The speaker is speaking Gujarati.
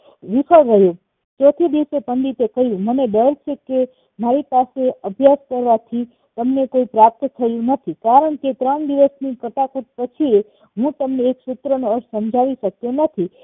વિફળ રહ્યું ચોથે દિવસે પંડિતે કહ્યું મને ડર છે કે મારી પાસે અભયાસ કરવાથી તમને કય પ્રાપ્ત થયું નથી કારણ કે ત્રણ દિવસ ની પછી હું તમને એક સૂત્રનો અર્થ સમજાવી શક્યોં નથી